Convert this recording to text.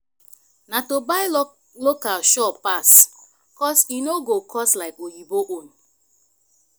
na to buy local sure pass cos e no go cost like oyinbo own